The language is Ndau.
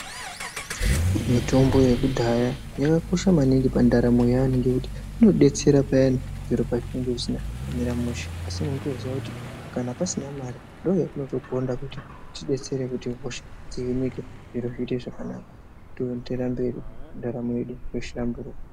Mitombo yekudhaya yakakosha maningi pandaramo yevantu ngenyaya yekuti inodetsera maningi payani zviro pazvinenge zvisina kumira mushe asi unongoziva kuti kana pasina mari ndoinodetsera kuti hosha dzihinike zvirozviite zvakanaka toendereraa mberi ndaramo yedu yohlamburuka.